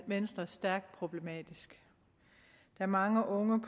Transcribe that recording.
venstre stærkt problematisk da mange unge